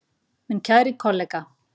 Minn kæri kollega.